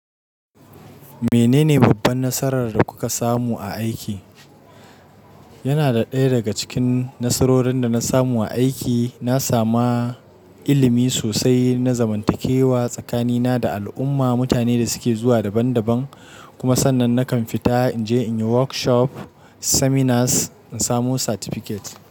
Menene babban nasarar da kuka samu a aiki? Yana da ɗaya daga cikin nasarorin da na samu a aiki. Na sami ilimi sosai, na zamantakewa tsakanina da al'umma, mutane da suke zuwa daban daban. Kuma sannan nakan fita in je in yi workshop seminars, in samu certificate.